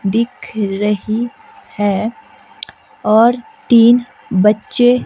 दिख रही है और तीन बच्चे।